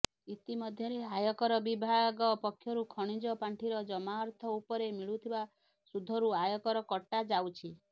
ଇତିମଧ୍ୟରେ ଆୟକର ବିଭାଗ ପକ୍ଷରୁ ଖଣିଜ ପାଣ୍ଠିର ଜମା ଅର୍ଥ ଉପରେ ମିଳୁଥିବା ସୁଧରୁ ଆୟକର କଟାଯାଉଛି